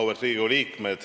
Auväärt Riigikogu liikmed!